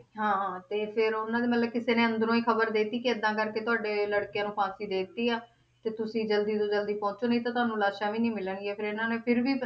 ਕਿ ਤੁਸੀਂ ਜਲਦੀ ਤੋਂ ਜਲਦੀ ਪਹੁੰਚੋ ਨਹੀਂ ਤਾ ਤੁਹਾਨੂੰ ਲਾਸ਼ਾਂ ਵੀ ਨਹੀਂ ਮਿਲਣਗੀਆਂ ਫਿਰ ਇਹਨਾਂ ਨੇ ਫਿਰ ਵੀ